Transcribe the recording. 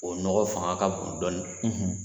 O nɔgɔ fanga ka bon dɔɔni